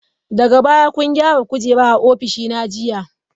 Daga baya kun gyara kujera a ofishina jiya?